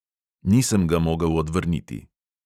Nisem ga mogel odvrniti.